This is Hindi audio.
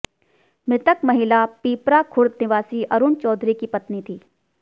मृतक महिला पीपरा खुर्द निवासी अरूण चौधरी की पत्नी थी